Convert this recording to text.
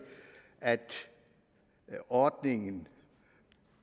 at ordningen